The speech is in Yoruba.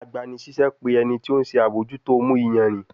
Agbanisiṣẹ pe ẹni ti o nṣe abojuto mu iyanrin